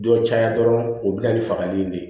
Dɔ caya dɔrɔn o bɛ na ni fagali in de ye